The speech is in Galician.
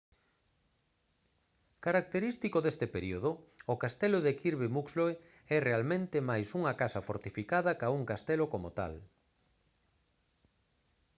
característico deste período o castelo de kirby muxloe é realmente máis unha casa fortificada ca un castelo como tal